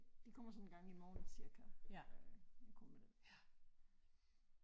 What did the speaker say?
De kommer sådan en gang i morgen cirka øh kommer den